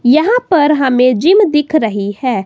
यहां पर हमे जिम दिख रही है।